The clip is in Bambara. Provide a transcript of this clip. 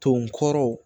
To n kɔrɔ